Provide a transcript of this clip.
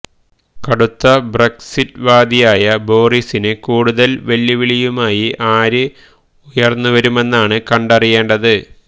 കടുത്ത ബ്രക്സിറ്റ് വാദിയായ ബോറിസിന് കൂടുതല് വെല്ലുവിളിയുമായി ആര് ഉയര്ന്നുവരുമെന്നാണ് കണ്ടറിയേണ്ടത്